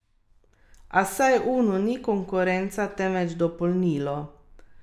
Prepričan sem, da bomo spravili sistem na kolena in razbili matrico na tisoč koščkov.